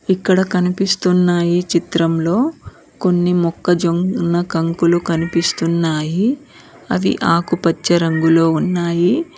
ఇక్కడ కనిపిస్తున్న ఈ చిత్రంలో కొన్ని మొక్కజొన్న కంకులు కనిపిస్తున్నాయి అవి ఆకుపచ్చ రంగులో ఉన్నాయి.